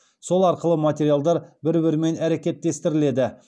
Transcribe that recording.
сол арқылы материалдар бір бірімен әрекеттестіріледі